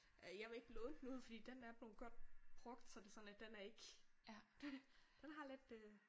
Øh jeg vil ikke låne den ud fordi den er blevet godt brugt så det sådan lidt den er ikke. Den den har lidt øh